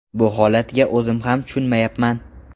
Bu holatga o‘zim ham tushunmayapman.